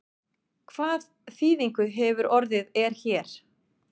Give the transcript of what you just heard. Hvað þýðingu hefur orðið er hér?